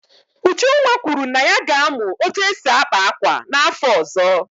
Ujunwa kwuru na ya ga-amụ otú e si akpa akwa n'afọ ọzọ.